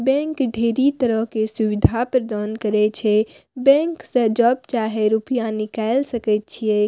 Bank ढेरी तरह के सुविधा प्रदान करे छै बैंक से जब चाहे रूपया निकाल सके छै।